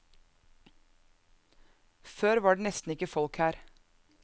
Før var det nesten ikke folk her.